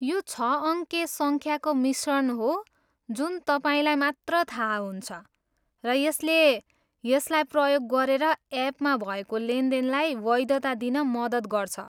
यो छ अङ्के सङ्ख्याको मिश्रण हो जुन तपाईँलाई मात्र थाहा हुन्छ, र यसले यसलाई प्रयोग गरेर एपमा भएको लेनदेनलाई वैधता दिन मद्दत गर्छ।